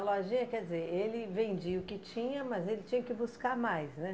A lojinha, quer dizer, ele vendia o que tinha, mas ele tinha que buscar mais, né?